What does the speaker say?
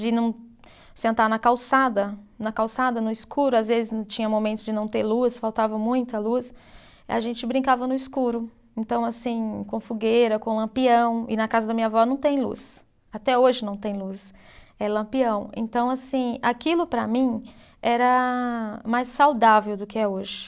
De não sentar na calçada, na calçada, no escuro, às vezes não tinha momento de não ter luz, faltava muita luz, a gente brincava no escuro, então assim, com fogueira, com lampião, e na casa da minha avó não tem luz, até hoje não tem luz, é lampião, então assim, aquilo para mim era mais saudável do que é hoje.